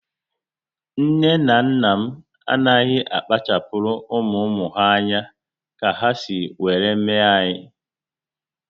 Nne na nna m anaghị akpachapuru ụmụ ụmụ ha anya ka ha si were mee anyị